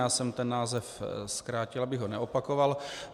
Já jsem ten návrh zkrátil, abych ho neopakoval.